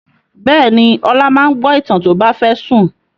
Bẹ́ẹ̀ ni, Ọlá máa ń gbọ́ ìtàn tó bá fẹ́ sùn.